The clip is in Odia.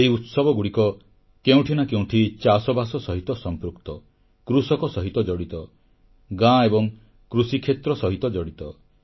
ଏହି ଉତ୍ସବଗୁଡ଼ିକ କେଉଁଠି ନାଁ କେଉଁଠି ଚାଷବାସ ସହିତ ସମ୍ପୃକ୍ତ କୃଷକ ସହିତ ଜଡ଼ିତ ଗାଁ ଏବଂ କୃଷିକ୍ଷେତ୍ର ସହିତ ଜଡ଼ିତ